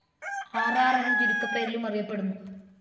R R എന്ന ചുരുക്ക പേരിലും അറിയപെടുന്നു.